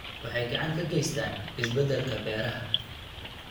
Waxay gacan ka geystaan ??isbeddelka beeraha.